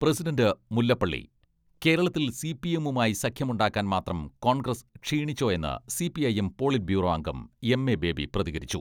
President Mullappally കേരളത്തിൽ സിപിഎമ്മുമായി സഖ്യമുണ്ടാക്കാൻ മാത്രം കോൺഗ്രസ് ക്ഷീണിച്ചോ എന്ന് സി.പി.ഐ.എം പോളിറ്റ് ബ്യൂറോ അംഗം എം.എ ബേബി പ്രതികരിച്ചു.